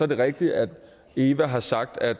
det rigtigt at eva har sagt at